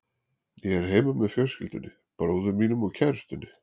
Ég er heima með fjölskyldunni, bróður mínum og kærustunni.